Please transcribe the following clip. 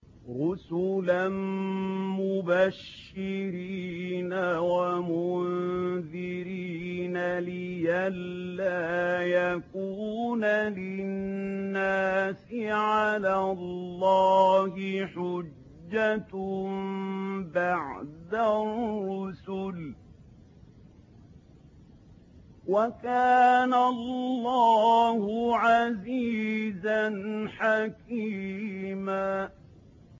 رُّسُلًا مُّبَشِّرِينَ وَمُنذِرِينَ لِئَلَّا يَكُونَ لِلنَّاسِ عَلَى اللَّهِ حُجَّةٌ بَعْدَ الرُّسُلِ ۚ وَكَانَ اللَّهُ عَزِيزًا حَكِيمًا